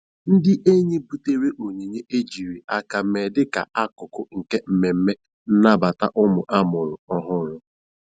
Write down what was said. Ndị enyi butere onyinye ejiri aka mee dịka akụkụ nke mmemme nnabata ụmụ amụrụ ọhụrụ.